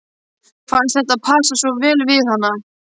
Fannst þetta passa svo vel við hana.